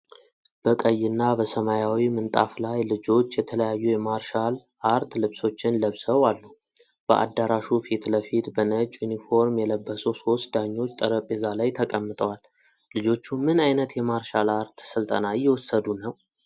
በቀይና በሰማያዊ ምንጣፍ ላይ ልጆች የተለያዩ የማርሻል አርት ልብሶችን ለብሰው አሉ። በአዳራሹ ፊት ለፊት በነጭ ዩኒፎርም የለበሱ ሶስት ዳኞች ጠረጴዛ ላይ ተቀምጠዋል። ልጆቹ ምን ዓይነት የማርሻል አርት ሥልጠና እየወሰዱ ነው?